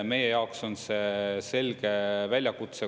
Meie jaoks on see selge väljakutse.